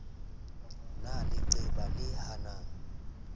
na le leqeba le hanang